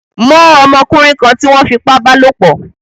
Mó ọmọkúnrin kan tí wón fipá bálòpò